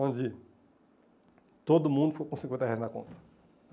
Onde todo mundo ficou com cinquenta reais na conta.